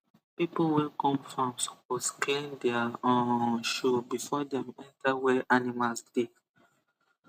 people wey come farm suppose clean their um shoe before dem enter where animals dey